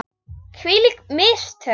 Hvílík mistök!